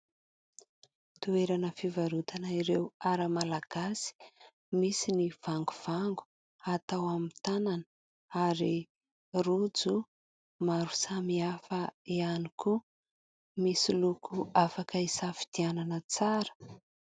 Toerana fivarotana ireo ara-malagasy. Misy ny vangovango atao amin'ny tanana ary rojo maro samihafa ihany koa misy loko afaka isafidianana tsara.